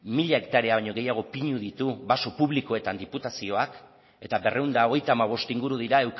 mila hektarea baino gehiago pinu ditu baso publikoetan diputazioak eta berrehun eta hogeita hamabost inguru dira